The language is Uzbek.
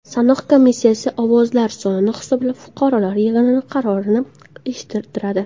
Sanoq komissiyasi ovozlar sonini hisoblab, fuqarolar yig‘ini qarorini eshittiradi.